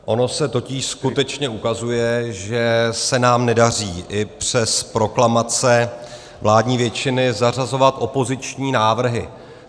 Ono se totiž skutečně ukazuje, že se nám nedaří, i přes proklamace vládní většiny, zařazovat opoziční návrhy.